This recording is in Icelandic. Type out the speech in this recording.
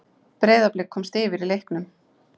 Breiðablik komst yfir í leiknum.